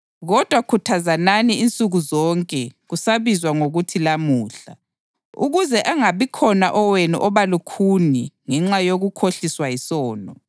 Kodwa khuthazanani insuku zonke kusabizwa ngokuthi lamuhla, ukuze angabikhona owenu oba lukhuni ngenxa yokukhohliswa yisono.